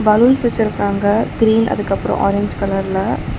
Balloons வச்சுருக்காங்க green அதுக்கப்றோ orange கலர்ல .